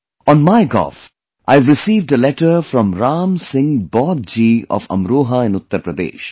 On MyGov, I have received a letter from Ram Singh BaudhJi of Amroha in Uttar Pradesh